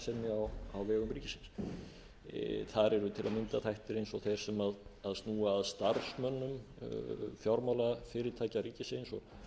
til að mynda þættir eins og þeir sem snúa að starfsmönnum fjármálafyrirtækja ríkisins og